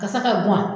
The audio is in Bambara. Ka se ka guwa